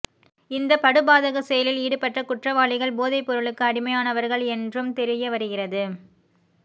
இந்த படுபாதக செயலில் ஈடுபட்ட குற்றவாளிகள் போதைப் பொருளுக்கு அடிமையானவர்கள் என்றும் தெரியவருகிறது